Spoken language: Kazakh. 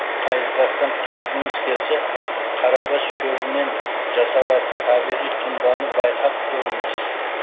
қайызғақтан құтылғыңыз келсе қарабас шөбінен жасалатын табиғи тұнбаны байқап көріңіз